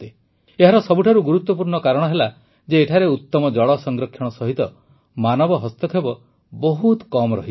ଏହାର ସବୁଠାରୁ ଗୁରୁତ୍ୱପୂର୍ଣ୍ଣ କାରଣ ହେଲା ଯେ ଏଠାରେ ଉତମ ଜଳ ସଂରକ୍ଷଣ ସହିତ ମାନବ ହସ୍ତକ୍ଷେପ ବହୁତ କମ୍ ରହିଛି